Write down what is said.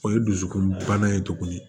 O ye dusukolo bana ye tuguni